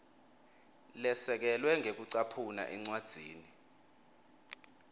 lesekelwe ngekucaphuna encwadzini